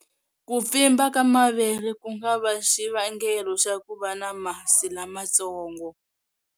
Ku pfimba ka mavele ku nga va xivangelo xa ku va na masi lamatsongo.